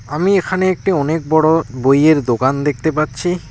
আমি এখানে একটি অনেক বড়ো বইয়ের দোকান দেখতে পাচ্ছি।